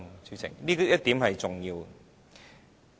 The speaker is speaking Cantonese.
主席，這一點是重要的。